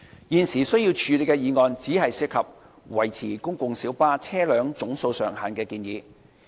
現時須處理的議案只涉及維持公共小巴車輛總數上限的建議。